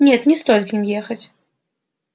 нет не стоит к ним ехать